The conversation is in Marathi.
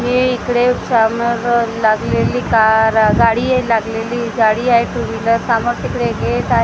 हे इकडे समोर आह लागलेली कार आह गाडी आहे लागलेली गाडी आहे टू व्हीलर सामोर तिकडे गेट आहे.